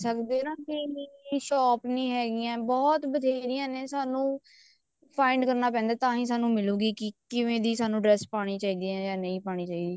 ਕਿਹ ਸਕਦੇ ਨਾ ਵੀ shop ਨੀ ਹੈਗੀਆਂ shop ਬਥੇਰੀਆਂ ਨੇ ਸਾਨੂੰ find ਕਰਨਾ ਪੈਂਦਾ ਤਾਹੀਂ ਸਾਨੂੰ ਮਿਲੇਗੀ ਕੀ ਕਿਵੇਂ ਦੀ ਸਾਨੂੰ dress ਪਾਉਣੀ ਚਾਹੀਦੀ ਆ ਕਿਵੇਂ ਦੀ ਨਹੀਂ ਪਾਉਣੀ ਚਾਹੀਦੀ